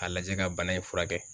A lajɛ ka bana in furakɛ